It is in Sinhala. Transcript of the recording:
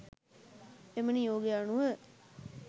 එම නියෝගය අනුව